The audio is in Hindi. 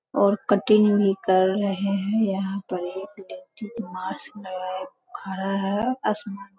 और कटिंग भी करी है यहां पर एक वियक्ति मास्क लगाए खड़ा है असमान --